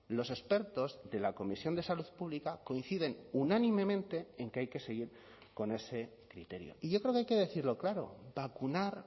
los expertos de la comisión de salud pública coinciden unánimemente en que hay que seguir con ese criterio y yo creo que hay que decirlo claro vacunar